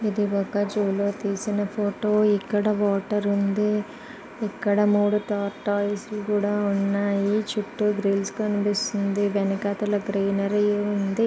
ఇది ఒక జూ లో తీసిన ఫోటో ఇక్కడ వాటర్ ఉంది. ఇక్కడ మూడు టార్టాయిస్ కూడా ఉన్నాయి. చుట్టూ గ్రీస్ కనిపిస్తూ ఉంది వెనకాతల గ్రీనరీ ఉంది.